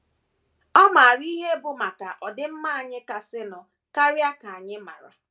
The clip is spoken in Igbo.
Ọ maara ihe bụ́ maka ọdịmma anyị kasịnụ karịa ka anyị maara.